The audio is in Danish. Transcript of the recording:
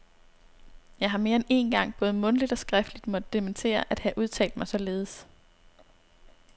Jeg har mere end én gang både mundtligt og skriftligt måtte dementere at have udtalt mig således.